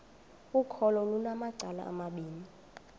ukholo lunamacala amabini